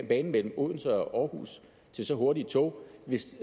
banen mellem odense og aarhus til så hurtige tog hvis